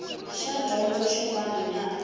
xa dyondzo xin wana na